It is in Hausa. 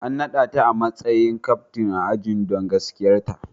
An nada ta a matsayin captain ajin don gaskiyarta.